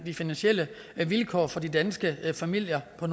de finansielle vilkår for de danske familier og